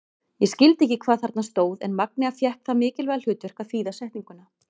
Ég skildi ekki hvað þarna stóð en Magnea fékk það mikilvæga hlutverk að þýða setninguna.